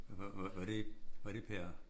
Var var var det var det per